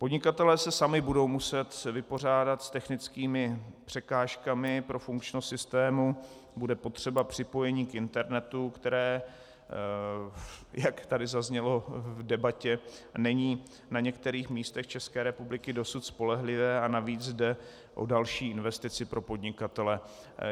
Podnikatelé se sami budou muset vypořádat s technickými překážkami pro funkčnost systému, bude potřeba připojení k internetu, které, jak tady zaznělo v debatě, není na některých místech České republiky dosud spolehlivé a navíc jde o další investici pro podnikatele.